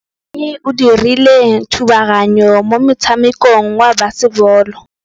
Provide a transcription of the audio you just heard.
Mosimane o dirile thubaganyô mo motshamekong wa basebôlô.